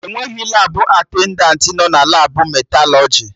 Enweghị Labụ atendantị nọ na Labụ metalọjị